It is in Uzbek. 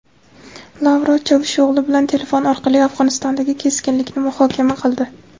Lavrov Chavusho‘g‘li bilan telefon orqali Afg‘onistondagi keskinlikni muhokama qildi.